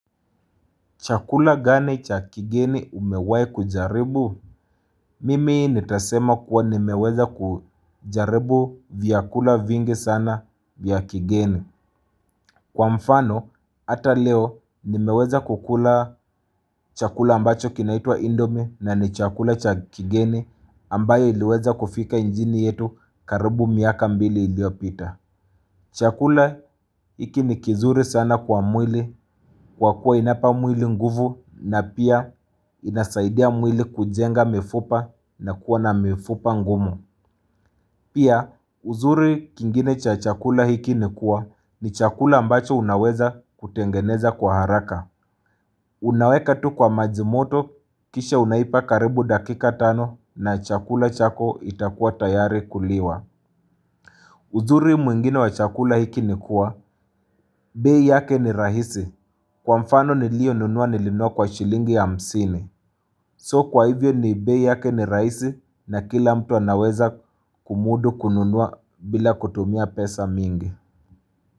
Chakula gani cha kigeni umewai kujaribu? Mimi nitasema kuwa nimeweza kujaribu vyakula vingi sana vya kigeni. Kwa mfano, ata leo nimeweza kukula chakula ambacho kinaitwa indomi na ni chakula cha kigeni ambayo iliweza kufika nchini yetu karibu miaka mbili iliopita. Chakula hiki ni kizuri sana kwa mwili kwa kuwa inapa mwili nguvu na pia inasaidia mwili kujenga mifupa na kuwa na mifupa ngumu. Pia uzuri ingine cha chakula hiki ni kuwa ni chakula ambacho unaweza kutengeneza kwa haraka. Unaweka tu kwa majimoto kisha unaipa karibu dakika tano na chakula chako itakuwa tayari kuliwa. Uzuri mwingine wa chakula hiki ni kuwa, bei yake ni rahisi kwa mfano niliyo nunua nilinua kwa shilingi ya hamsini. So kwa hivyo ni bei yake ni rahisi na kila mtu anaweza kumudu kununua bila kutumia pesa mingi.